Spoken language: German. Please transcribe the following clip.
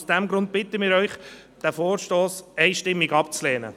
Aus diesem Grund bitten wir Sie, diesen Vorstoss einstimmig abzulehnen.